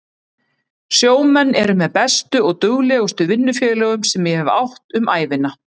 Sjómenn eru með bestu og duglegustu vinnufélögum sem ég hef átt um ævina.